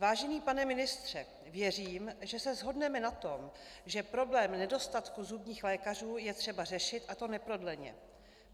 Vážený pane ministře, věřím, že se shodneme na tom, že problém nedostatku zubních lékařů je třeba řešit, a to neprodleně.